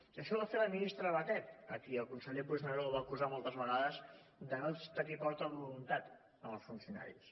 i això ho va fer la ministra batet a qui el conseller puigneró va acusar moltes vegades de no tenir prou voluntat amb els funcionaris